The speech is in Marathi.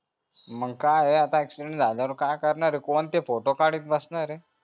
मग काय आता accident झाल्यावर काय करणार कोणती photo काढणार आहे